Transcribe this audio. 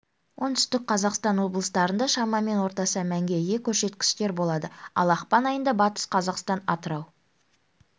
оңтүстік қазақстан облыстарында шамамен орташа мәнге ие көрсеткіштер болады ал ақпан айында батыс қазақстан атырау